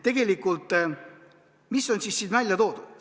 Tegelikult, mis on siin välja toodud?